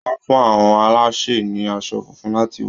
Wọ́n fún àọn alásè ní aṣọ funfun láti wọ̀.